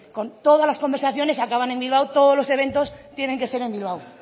con todas las conversaciones acaban en bilbao todos los eventos tienen que ser en bilbao